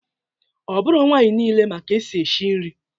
Ọ bụrọ nwaanyị nile ma ka esi eshi nri